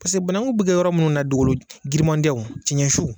Paseke banakun bɛ kɛ yɔrɔ minnu na, dugukolo girinmanw tɛ, cɛncɛn su.